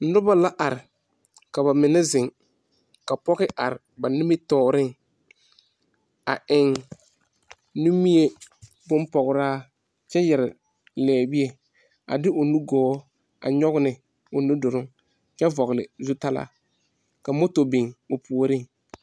Noba la are. Ka ba mene zeŋ. Ka poge are ba nimitooreŋ. A eŋ nimie boŋ pograa kyɛ yɛre liebie. A de o nu gɔɔ a nyoɔge ne o nu duroŋ kyɛ vogle zutalaa. A moto biŋ o pooreŋ